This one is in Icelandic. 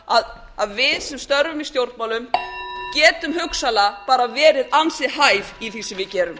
það að við sem störfum í stjórnmálum getum hugsanlega bara verið ansi hæf í því sem við gerum